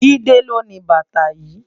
Jide ló ni bàtá yi